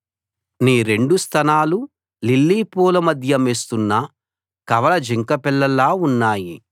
నీ రెండు స్తనాలు లిల్లీ పూల మధ్య మేస్తున్న కవల జింకపిల్లల్లా ఉన్నాయి